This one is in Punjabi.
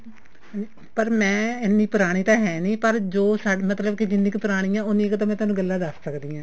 ਪਰ ਮੈਂ ਇੰਨੀ ਪੁਰਾਣੀ ਤਾਂ ਹੈ ਨੀ ਪਰ ਜੋ ਮਤਲਬ ਕੀ ਜਿੰਨੀ ਕ ਪੁਰਾਣੀ ਹੈ ਉੰਨੀ ਕ ਤਾਂ ਮੈਂ ਤੁਹਾਨੂੰ ਗੱਲਾਂ ਦੱਸ ਸਕਦੀ ਹਾਂ